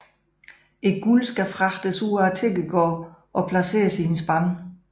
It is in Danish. Guldet skal fragtes ud af tigergården og placeres i en spand